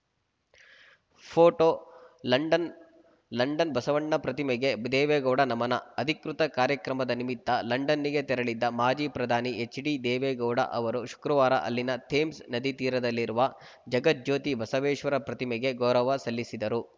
ಫೋಟೋಲಂಡನ್‌ London Basavanna ಪ್ರತಿಮೆಗೆ ದೇವೇಗೌಡ ನಮನ ಅಧಿಕೃತ ಕಾರ್ಯಕ್ರಮದ ನಿಮಿತ್ತ ಲಂಡನ್ನಿಗೆ ತೆರಳಿದ್ದ ಮಾಜಿ ಪ್ರಧಾನಿ ಎಚ್‌ಡಿದೇವೇಗೌಡ ಅವರು ಶುಕ್ರವಾರ ಅಲ್ಲಿನ ಥೇಮ್ಸ್‌ ನದಿ ತೀರದಲ್ಲಿರುವ ಜಗಜ್ಯೋತಿ ಬಸವೇಶ್ವರ ಪ್ರತಿಮೆಗೆ ಗೌರವ ಸಲ್ಲಿಸಿದರು